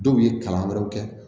Dɔw ye kalan wɛrɛw kɛ